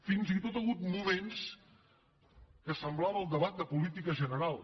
fins i tot hi ha hagut moments que semblava el debat de política general